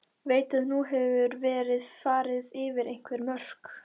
Veit að nú hefur verið farið yfir einhver mörk.